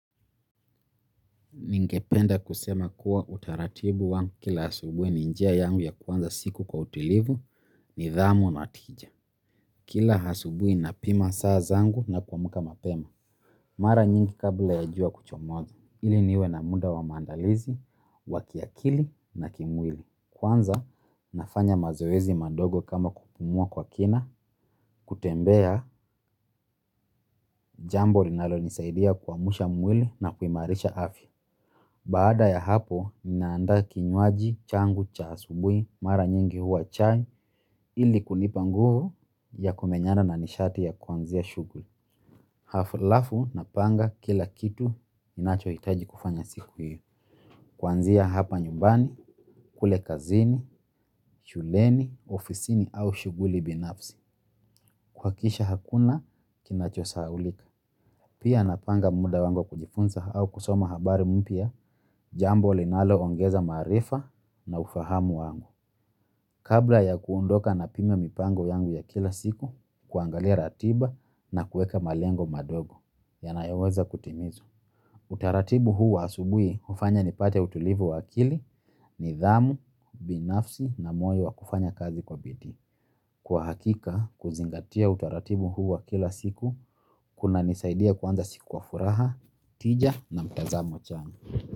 Ningependa kusema kuwa utaratibu wangu kila asubuhi ni njia yangu ya kuanza siku kwa utulivu nidhamu na tija. Kila asubuhi napima saa zangu na kuamka mapema. Mara nyingi kabla ya jua kuchomoza ili niwe na muda wa maandalizi wa kimwili na kiakili kwanza, nafanya mazoezi madogo kama kupumua kwa kina kutembea jambo linalonisaidia kuamsha mwili na kuimarisha afya. Baada ya hapo, ninaanda kinywaji, changu, cha asubuhi, mara nyingi huwa chai, ili kunipa nguvu ya kumenyana na nishati ya kuanzia shughuli. Halafu, napanga kila kitu ninachohitaji kufanya siku hiyo. Kuanzia hapa nyumbani, kule kazini, shuleni, ofisini au shughuli binafsi. Kuhakikisha hakuna, kinacho sahaulika. Pia napanga muda wangu wa kujifunza au kusoma habari mpya, jambo linaloongeza marifa na ufahamu wangu. Kabla ya kuondoka napima mipango yangu ya kila siku, kuangalia ratiba na kueka malengo madogo, yanayoweza kutimizwa. Utaratibu huu wa asubuhi hufanya nipate utulivu wa akili, nidhamu, binafsi na moyo wa kufanya kazi kwa bidii. Kwa hakika, kuzingatia utaratibu huu wa kila siku kunanisaidia kuanza siku kwa furaha, tija na mtazamo chanya.